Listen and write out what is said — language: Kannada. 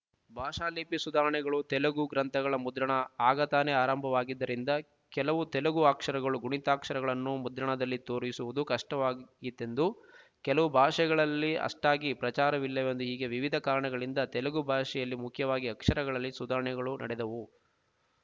ಭಾಷಾಲಿಪಿ ಸುಧಾರಣೆಗಳು ತೆಲುಗು ಗ್ರಂಥಗಳ ಮುದ್ರಣ ಆಗತಾನೇ ಆರಂಭವಾಗಿದ್ದರಿಂದ ಕೆಲವು ತೆಲುಗು ಅಕ್ಷರಗಳು ಗುಣಿತಾಕ್ಷರಗಳನ್ನು ಮುದ್ರಣದಲ್ಲಿ ತೋರಿಸುವುದು ಕಷ್ಟವಾಗಿತ್ ಯೆಂದು ಕೆಲವು ಭಾಷೆಗಳಲ್ಲಿ ಅಷ್ಟಾಗಿ ಪ್ರಚಾರವಿಲ್ಲವೆಂದು ಹೀಗೆ ವಿವಿಧ ಕಾರಣಗಳಿಂದ ತೆಲುಗು ಭಾಷೆಯಲ್ಲಿ ಮುಖ್ಯವಾಗಿ ಅಕ್ಷರಗಳಲ್ಲಿ ಸುಧಾರಣೆಗಳು ನಡೆದವು